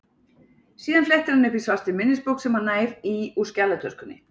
Síðan flettir hann upp í svartri minnisbók sem hann nær í úr skjalatöskunni.